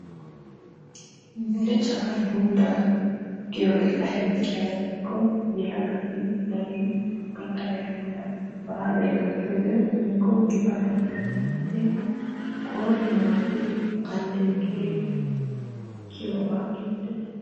Belocaa dunddaa giyogee aybee giyaba gidikko yelagati darin gaxariya heeran baalay gakkiyode woykko gifaatay gakkiyode qooriyan wottiri alleeqiri kiyiyogaa geettees.